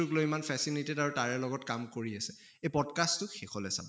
তোক লৈ ইমান fascinated আৰু তাৰে লগত কাম কৰি আছে এই pod cast টো শেষলৈ চাব।